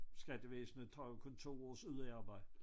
Skattevæsenet tager jo kun 2 års yderligere arbejde